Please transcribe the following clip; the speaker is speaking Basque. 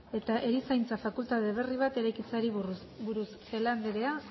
eta erizaintza fakultate berri bat eraikitzeari buruz celaá andrea